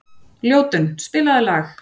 Ljótunn, spilaðu lag.